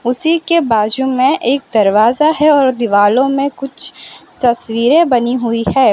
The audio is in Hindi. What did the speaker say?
उसी के बाजु में एक दरवाजा है और दीवालों में कुछ तस्वीरें बनी हुई है।